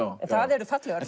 en það eru fallegar